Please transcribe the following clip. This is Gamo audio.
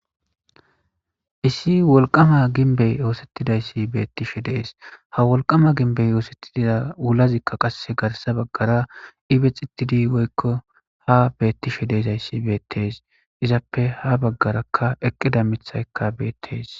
Issi wolqqama ginbbey oththetidays betishe de'es ha wolqqama ginbezi othetida wulazika qasse garssa baggara ibbixetid woykko ha betishshe deizayssi bettes izappe ha baggara eqqida miththay bettes.